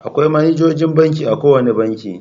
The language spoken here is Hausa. Akwai manajojin banki a kowane banki.